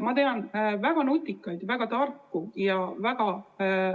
Ma tean väga nutikaid, väga tarku ja väga